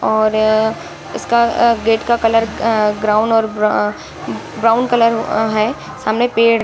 और इसका गेट का कलर आ ग्राउन और ब्रा ब्राउन कलर आ है | सामने पेड़ --